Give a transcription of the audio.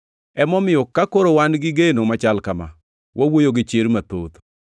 Emomiyo ka koro wan gi geno machal kama, wawuoyo gi chir mathoth.